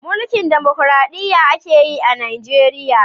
Mulkin damakoraɗiya ake yi a Najeriya.